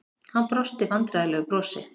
Hann brosti vandræðalegu brosi.